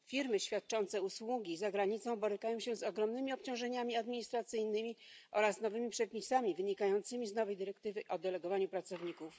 Firmy świadczące usługi za granicą borykają się z ogromnymi obciążeniami administracyjnymi oraz nowymi przepisami wynikającymi z nowej dyrektywy o delegowaniu pracowników.